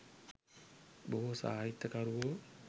බොහෝ සාහිත්‍ය කරුවෝ